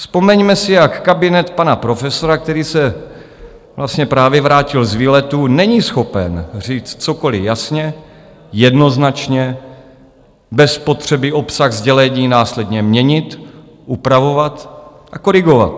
Vzpomeňme si, jak kabinet pana profesora, který se vlastně právě vrátil z výletu, není schopen říct cokoliv jasně, jednoznačně, bez potřeby obsah sdělení následně měnit, upravovat a korigovat.